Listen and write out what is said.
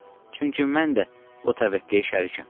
Çünki mən də o təvəqqiyə şərikəm.